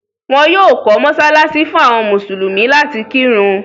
wọ́n yóò kọ́ mọsálásí fún àwọn mùsùlùmí láti kírun.